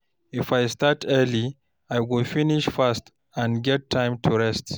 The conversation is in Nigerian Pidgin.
If I start early, I go finish fast and get time to rest.